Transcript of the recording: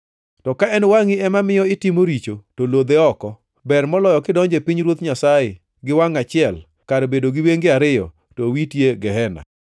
To ka en wangʼi ema miyo itimo richo to lodhe oko. Ber moloyo kidonjo e pinyruoth Nyasaye gi wangʼ achiel kar bedo gi wenge ariyo to owiti e gehena,